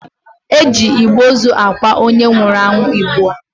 E ji igbe ozu akwa onye nwụrụ anwụ ugbua.